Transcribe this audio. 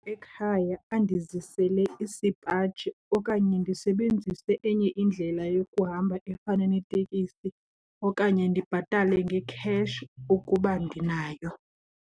Ekhaya andizisele isipaji okanye ndisebenzise enye indlela yokuhamba efana neteksi okanye ndibhatale ngekheshi ukuba ndinayo.